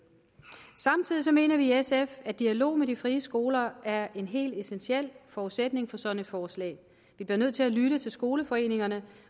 samtidig mener vi i sf at dialog med de frie skoler er en helt essentiel forudsætning for sådan et forslag vi bliver nødt til at lytte til skoleforeningerne